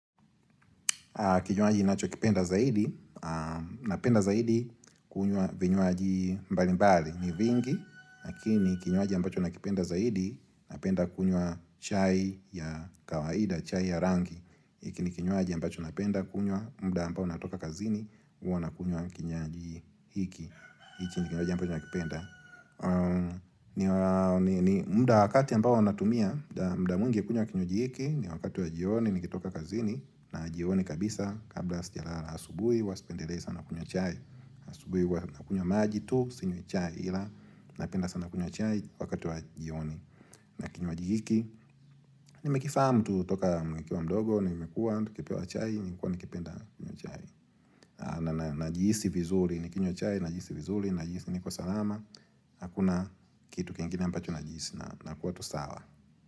Kinywaji ninachokipenda zaidi, Napenda zaidi kunywa vinywaji mbalimbali, ni vingi, lakini kinywaji ambacho nakipenda zaidi, napenda kunywa chai ya kawaida, chai ya rangi. Hiki ni kinywaji ambacho napenda kunywa muda ambao natoka kazini, huwa nakunywa kinywaji hiki. Hiki ni kinywaji ambacho nakipenda. Muda wakati ambao natumia muda mwingi kunywa kinywaji hiki, ni wakati wa jioni nikitoka kazini na jioni kabisa kabla sijalala. Asubuhi huwa sipendelei sana kunywa chai. Asubuhi huwa nakunywa maji tu, sinywi chai ila Napenda sana kunywa chai wakati wa jioni. Na kinywaji hiki nimekifahamu tu kutoka nikiwa mdogo, nimekuwa tukipewa chai, nimekuwa nikipenda kunywa chai. Na najihisi vizuri nikinywa chai najihisi vizuri, najihisi niko salama Hakuna kitu kingine ambacho najihisi nakuwa tu sawa.